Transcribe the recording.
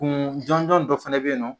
Kun jɔnjɔn dɔ fana bɛ yen nɔ